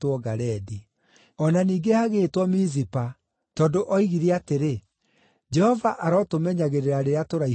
O na ningĩ hagĩĩtwo Mizipa, tondũ oigire atĩrĩ, “Jehova arotũmenyagĩrĩra rĩrĩa tũraihanĩrĩirie.